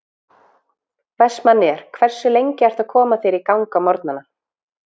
Vestmanneyjar Hversu lengi ertu að koma þér í gang á morgnanna?